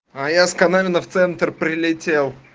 а я с камином в центр прилетел